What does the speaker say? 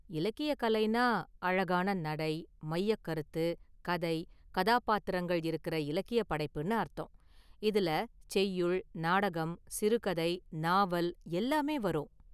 இலக்கிய கலைனா அழகான​ நடை, மையக்கருத்து, கதை, கதாபாத்திரங்கள் இருக்கற இலக்கிய படைப்புனு அர்த்தம். இதுல செய்யுள், நாடகம், சிறுகதை, நாவல் எல்லாமே வரும்.